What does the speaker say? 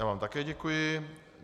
Já vám také děkuji.